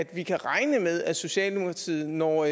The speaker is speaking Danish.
vi kan regne med at socialdemokratiet når